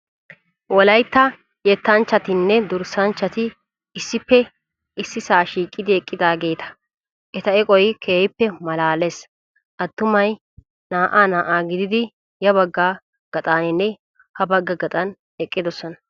Wolayitta yettanchchatinne durssanchchati issippe issisaa shiiqidi eqqidaageeta. Eta eqoyi keehippe maalaales attumayi naa''aa naa''aa gididi ya bagga gaxaninne habagga gaxan eqqidosona.